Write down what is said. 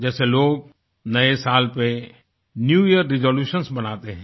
जैसे लोग नए साल पर न्यू यियर रिजोल्यूशंस बनाते हैं